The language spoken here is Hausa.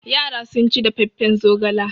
Yara sun ci dafaffen zogala.